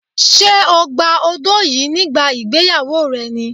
Ṣé o gba odó yìí nígbà ìgbéyàwó rẹ ni?